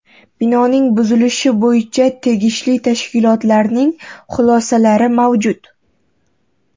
Binoning buzilishi bo‘yicha tegishli tashkilotlarning xulosalari mavjud.